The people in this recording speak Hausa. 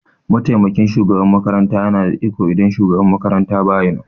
mataimakin shugaban makaranta yana da iko idan shugaban makaranta baya nan.